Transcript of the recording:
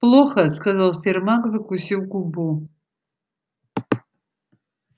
плохо сказал сермак закусив губу